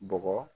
Bɔgɔ